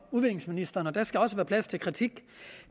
udviklingsministeren og der skal også være plads til kritik